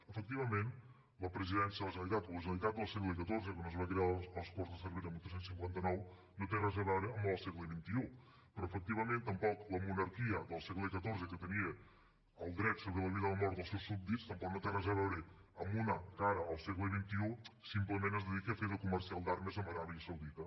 efectivament la presidència de la generalitat de la generalitat del segle xiv quan es va crear a les corts de cervera el tretze cinquanta nou no té res a veure amb la del segle xxi però efectivament tampoc la monarquia del segle xiv que tenia el dret sobre la vida i la mort dels seus súbdits tampoc no té res a veure amb una que ara al segle xxi simplement es dedica de fer de comercial d’armes amb aràbia saudita